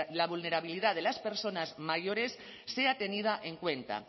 la vulnerabilidad de las personas mayores sea tenida en cuenta